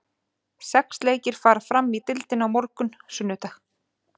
Sex leikir fara fram í deildinni á morgun, sunnudag.